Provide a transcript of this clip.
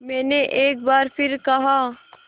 मैंने एक बार फिर कहा